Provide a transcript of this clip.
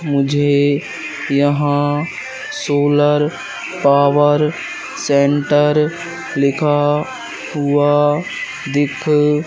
मुझे यहां solar power centre लिखा हुआ दिख--